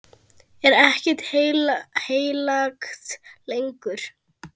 Er ekkert heilagt lengur?